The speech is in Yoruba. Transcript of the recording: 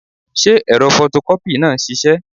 Ṣé ẹ̀rọ fọtọkọ́pì náà ń ṣiṣẹ́?